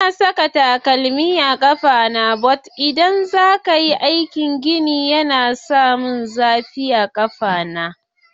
Ba na saka takalmi but idan za ka yi aikin gini saboda yana yi min zafi a ƙafa.